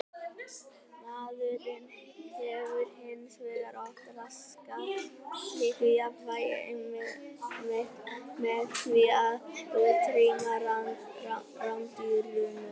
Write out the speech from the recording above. Maðurinn hefur hins vegar oft raskað slíku jafnvægi einmitt með því að útrýma rándýrunum.